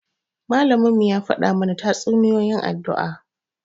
Malaminmu ya faɗa mana tatsuniyoyin addini.